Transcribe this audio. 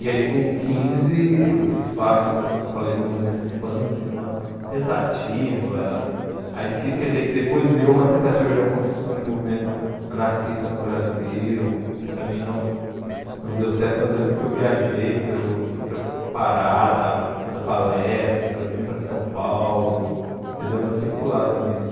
E aí com o quinze eu fiz parte da eu falei do movimento punk, de uma tentativa, aí que quer dizer que depois virou uma tentativa de uma construção de movimento anarquista no Brasil, que também não não deu certo, mas eu lembro que eu viajei, pelo fui para Pará dar dar palestra, vim para São Paulo, eu dei uma circulada nisso.